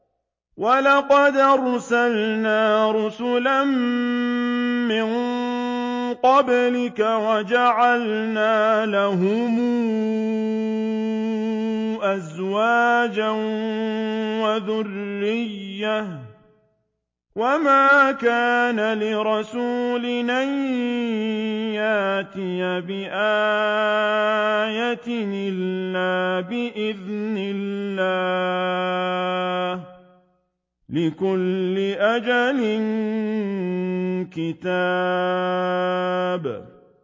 وَلَقَدْ أَرْسَلْنَا رُسُلًا مِّن قَبْلِكَ وَجَعَلْنَا لَهُمْ أَزْوَاجًا وَذُرِّيَّةً ۚ وَمَا كَانَ لِرَسُولٍ أَن يَأْتِيَ بِآيَةٍ إِلَّا بِإِذْنِ اللَّهِ ۗ لِكُلِّ أَجَلٍ كِتَابٌ